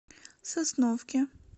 сосновке